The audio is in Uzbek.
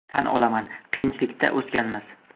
Tan olaman, qiyinchilikda o‘sganmiz.